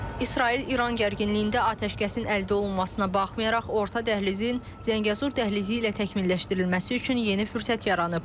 İsrail-İran gərginliyində atəşkəsin əldə olunmasına baxmayaraq, orta dəhlizin Zəngəzur dəhlizi ilə təkmilləşdirilməsi üçün yeni fürsət yaranıb.